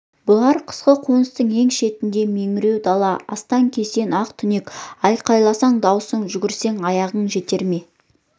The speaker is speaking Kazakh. бұлар қысқы қоныстың ең шетінде меңіреу дала астан-кестен ақ түнек айқайласаң дауысың жүгірсең аяғың жетер ме